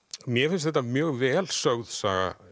mér finnst þetta mjög vel sögð saga